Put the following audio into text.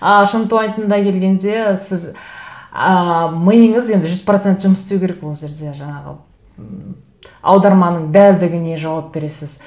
а шынтуайтында келгенде сіз ыыы миыңыз енді жүз процент жұмыс істеу керек ол жерде жаңағы ммм аударманың дәлдігіне жауап бересіз